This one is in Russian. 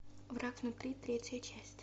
враг внутри третья часть